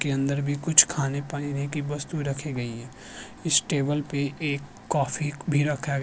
कि अंदर भी कुछ खाने पाइने की वस्तु रखी गई है इश टेबल पे एक कॉफी भी रखा गया --